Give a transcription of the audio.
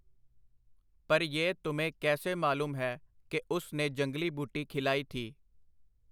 ਪਰ ਯਹ ਤੁਮੇਂ ਕੈਸੇ ਮਾਲੂਮ ਹੈ ਕਿ ਉਸ ਨੇ ਜੰਗਲੀ ਬੂਟੀ ਖਿਲਾਈ ਥੀ ?”.